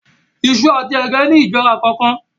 Iṣu àti ẹ̀gẹ́ ni ìjọra kọọkan